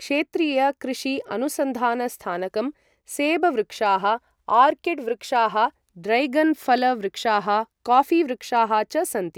क्षेत्रीय कृषि अनुसन्धान स्थानकं, सेब वृक्षाः, आर्किड् वृक्षाः, ड्रैगन फल वृक्षाः, कॉफी वृक्षाः च सन्ति